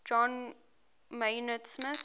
john maynard smith